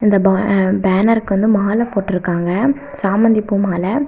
இந்த பே பேனருக்கு வந்து மால போட்டிருக்காங்க. சாமந்திப்பூ மால.